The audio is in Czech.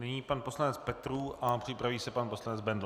Nyní pan poslanec Petrů a připraví se pan poslanec Bendl.